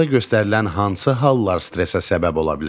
Aşağıda göstərilən hansı hallar stressə səbəb ola bilər?